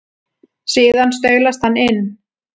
Síðan staulast hann inn.